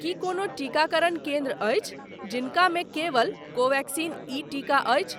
की कोनो टीकाकरण केन्द्र अछि जिनकामे केवल कोवेक्सिन ई टीका अछि ?